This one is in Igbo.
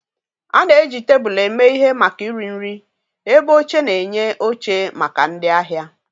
A na-eji tebụl eme ihe maka iri nri, ebe oche na-enye oche maka ndị ahịa.